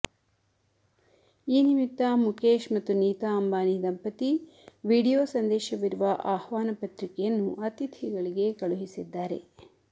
ಈ ನಿಮಿತ್ತ ಮುಕೇಶ್ ಮತ್ತು ನೀತಾ ಅಂಬಾನಿ ದಂಪತಿ ವಿಡಿಯೋ ಸಂದೇಶವಿರುವ ಆಹ್ವಾನ ಪತ್ರಿಕೆಯನ್ನು ಅತಿಥಿಗಳಿಗೆ ಕಳುಹಿಸಿದ್ದಾರೆ